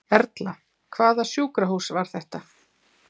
Erla: Hvaða sjúkrahús var þetta?